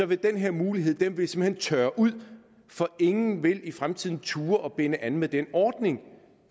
vil den her mulighed simpelt hen tørre ud for ingen vil i fremtiden turde at binde an med den ordning